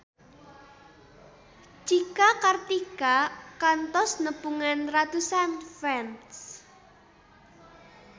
Cika Kartika kantos nepungan ratusan fans